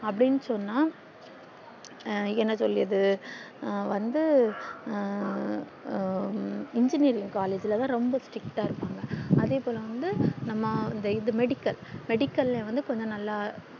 அப்டின்னு சொன்னா என்ன சொல்லியது வந்து ஆஹ் engineering collage ல வந்து ரொம்ப strict இருபாங்க அதே போல வந்து நம்ம இந்த இது medical medical வந்து கொஞ்ச நால்லா